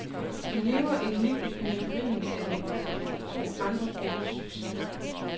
De lever et liv i periferien af de to andre gruppers succes.